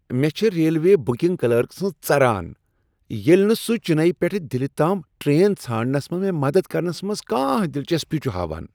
مےٚ چھ railway booking clerk سٕنز ژران ییٚلہ نہٕ سہ چننے پیٹھ دلہ تام ٹرین ژھانڈنس منٛز مےٚ مدد کرنس منٛز کانٛہہ دلچسپی چھ ہاوان۔